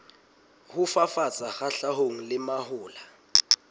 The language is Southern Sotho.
ho fafatsa kgahlanong le mahola